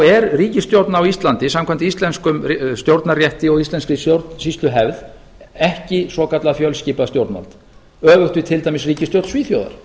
er ríkisstjórn á íslandi samkvæmt íslenskum stjórnarrétti og íslenskri stjórnsýsluhefð ekki svokallað fjölskipað stjórnvald öfugt við til dæmis ríkisstjórn svíþjóðar